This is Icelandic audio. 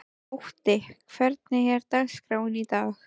Otti, hvernig er dagskráin í dag?